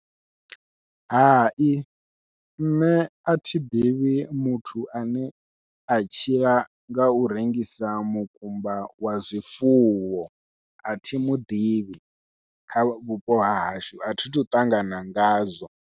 Hai nṋe athi ḓivhi muthu ane a tshila ngau rengisa mukumba wa zwifuwo athi muḓivhi kha vhupo hahashu athi thu ṱangana ngazwo.